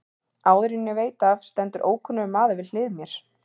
Áður en ég veit af stendur ókunnur maður við hlið mér.